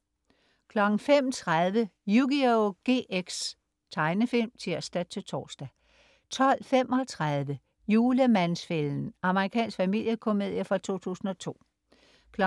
05.30 Yugioh GX. Tegnefilm (tirs-tors) 12.35 Julemands-fælden. Amerikansk familiekomedie fra 2002 14.15